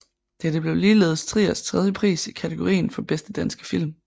Dette blev ligeledes Triers tredje pris i kategorien for bedste danske film